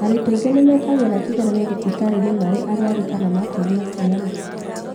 Arutwo angĩ nĩmekagĩra kĩgeranio thibitarĩ marĩ arwaru kana makĩgĩa ciana